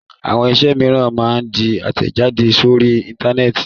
Àwọn iṣẹ́ mìíràn máa ń di àtẹ̀jáde sórí Íńtánẹ́ẹ̀tì.